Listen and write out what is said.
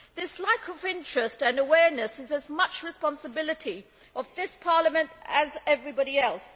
This lack of interest and awareness is as much the responsibility of this Parliament as of anybody else.